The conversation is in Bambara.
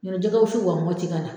Ɲ'ɔ tɛ jigɛ wusu wa Mɔti ka na.